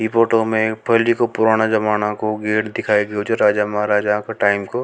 इ फोटो में पहले के पुराने जमाने को गेट दिखाई लाग रहो है राजा महाराजा के टाइम को।